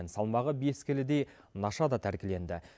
салмағы бес келідей наша да тәркіленді